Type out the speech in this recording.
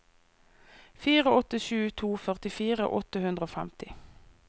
fire åtte sju to førtifire åtte hundre og femti